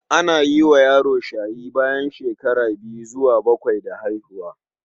Ana yi wa yaro shayi bayan shekara biyu zuwa bakwai da haihuwa.